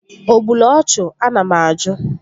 O gburu ọchụ? Ana m ajụ?